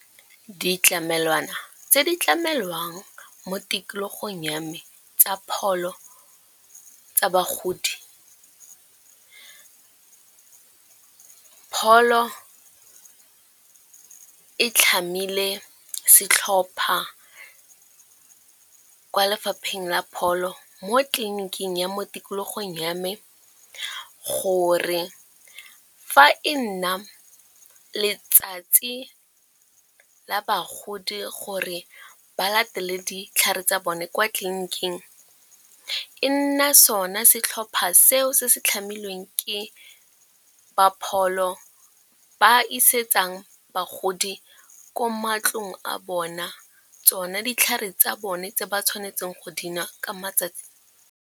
Ditlamelwana tse di tlamelwang mo tikologong ya me tsa pholo tsa bagodi. Pholo e tlhamile setlhopha kwa lefapheng la pholo mo tleliniking ya mo tikologong ya me, gore fa e nna letsatsi la bagodi gore ba latele ditlhare tsa bone kwa tleliniking e nna sona se tlhopha seo se se tlhamilweng ke ba pholo, ba isetsang bagodi ko matlong a bona tsona ditlhare tsa bone tse ba tshwanetseng go dinwa ka matsatsi.